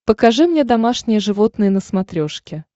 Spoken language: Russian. покажи мне домашние животные на смотрешке